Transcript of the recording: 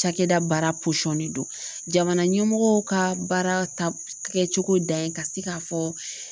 Cakɛda baara de don jamana ɲɛmɔgɔ ka baara ta kɛ cogo dan ye ka se ka fɔ